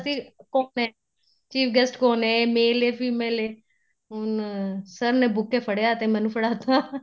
ਸੀ ਕੋਣ ਏ chief guest ਕੋਣ ਏ ਏ male ਏ female ਏ ਅਹ sir ਨੇ buke ਫੜੀਆ ਤੇ ਮੈਨੂੰ ਫੜਾ ਤਾ